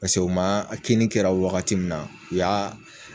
Pase u maa a kinni kɛra wagati min na u y'a